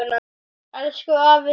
Elsku afi Siggi.